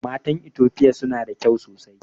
Matan itofia suna da kyau sosai